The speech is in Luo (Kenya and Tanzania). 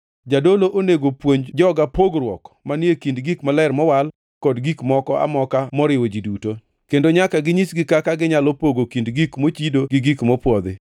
Jadolo onego puonj joga pogruok manie kind gik maler mowal kod gik moko amoka moriwo ji duto, kendo nyaka ginyisgi kaka ginyalo pogo kind gik mochido gi gik mopwodhi.